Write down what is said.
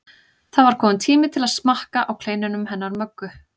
Það var kominn tími til að smakka á kleinunum hennar Möggu.